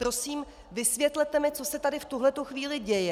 Prosím, vysvětlete mi, co se tady v tuhle chvíli děje!